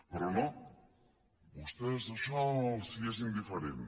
però no a vostès això els és indiferent